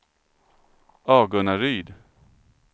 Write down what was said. Agunnaryd